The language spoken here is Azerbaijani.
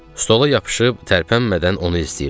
Stola yapışıb tərpənmədən onu izləyirdim.